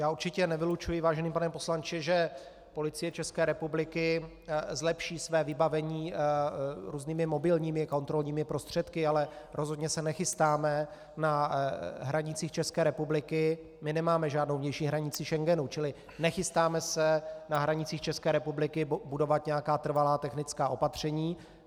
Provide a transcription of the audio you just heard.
Já určitě nevylučuji, vážený pane poslanče, že Policie České republiky zlepší své vybavení různými mobilními kontrolními prostředky, ale rozhodně se nechystáme na hranicích České republiky, my nemáme žádnou vnější hranici Schengenu, čili nechystáme se na hranicích České republiky budovat nějaká trvalá technická opatření.